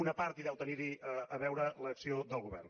una part hi deu tenir a veure l’acció del govern